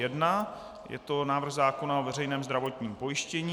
Je to návrh zákona o veřejném zdravotním pojištění.